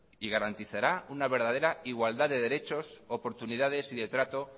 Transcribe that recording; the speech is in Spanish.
y garantizará una verdadera igualdad de derechos oportunidades y de trato